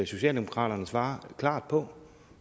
socialdemokraterne svarer klart på